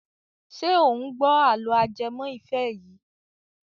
Ṣé ò ń gbọ́ àlọ́ ajẹmọ́ ìfẹ́ yìí.